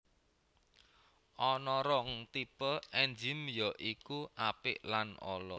Ana rong tipe ènzim ya iku apik lan ala